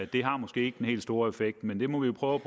det har måske ikke den helt store effekt men vi må jo prøve